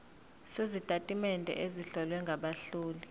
sezitatimende ezihlowe ngabahloli